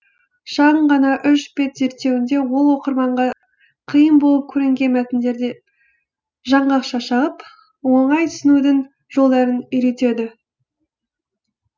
шағын ғана үш бет зерттеуінде ол оқырманға қиын болып көрінген мәтіндерді жаңғақша шағып оңай түсінудің жолдарын үйретеді